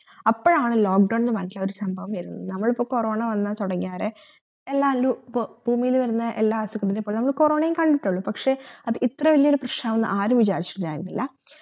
അപ്പോഴാണ് lock down എന്ന പറഞ്ഞിട്ടുള്ള ഒരു സംഭവം വർന്നത് നമ്മളിപ്പോ corona വന്ന് തൊടങ്ങിയതേ എല്ലാരിലു ഇപ്പൊ ഭൂമിലെ വർന്ന എല്ലാ അസുഖത്തിനെ പോലെ നമ്മള് corona യും കണ്ടിട്ടുള്ളു പക്ഷെ അത് ഇത്ര വല്യ ഒരു പ്രശ്നനാകുമെന്നു ആരും വിചാരിച്ചിട്ടുണ്ടായിരുന്നില്ല